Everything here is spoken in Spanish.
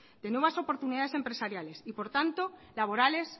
de nuevas oportunidades empresariales y por tanto laborales